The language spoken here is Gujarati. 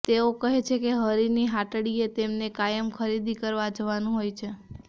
તેઓ કહે છે કે હરીની હાટડીએ તેમને કાયમ ખરીદી કરવા જવાનું હોય છે